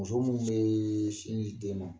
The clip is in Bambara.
Muso minnu bɛ sin ji den ma,